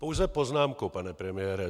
Pouze poznámku, pane premiére.